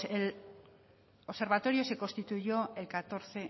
el observatorio se constituyó el catorce